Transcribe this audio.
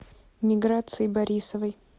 миграции борисовой